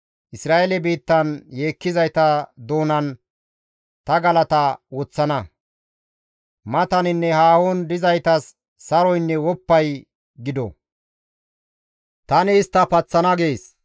Isra7eele biittan yeekkizayta doonan ta galata woththana. Mataninne haahon dizaytas saroynne woppay gido. Tani istta paththana» gees.